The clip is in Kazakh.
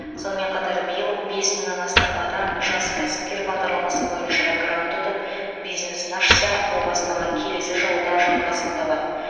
сонымен қатар биыл бес мыңнан астам адам жас кәсіпкер бағдарламасы бойынша грант ұтып бизнесін ашса бұл бастама келесі жылы да жалғасын табады